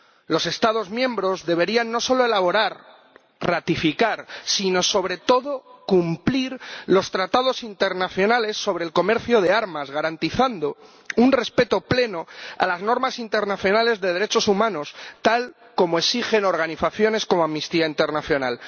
Los Estados miembros deberían no solo elaborar y ratificar, sino sobre todo cumplir los tratados internacionales sobre el comercio de armas, garantizando un respeto pleno de las normas internacionales sobre derechos humanos, tal como exigen organizaciones como Amnistía Internacional.